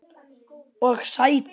Og sætur.